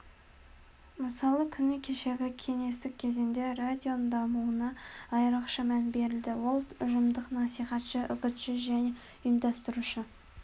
мысалы күні кешегі кеңестік кезеңде радионың дамуына айрықша мән берілді ол ұжымдық насихатшы үгітші және ұйымдастырушы